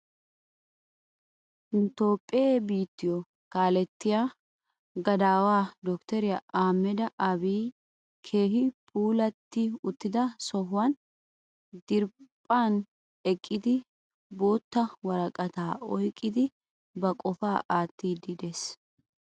Nu toophphe biittiyo kaalettiya gadaawa dottoriya Ahimeda Abiyi keehi puulatti uttida sohuwani diriiphphan eqqidi bootta woraqataa oyiqqidi ba qopaa aattiiddi des.